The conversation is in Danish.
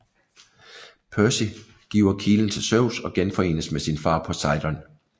Percy giver kilen til Zeus og genforenes med sin far Poseidon